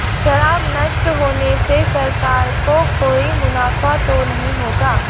शराब नष्ट होने से सरकार को कोई मुनाफा तो नहीं होगा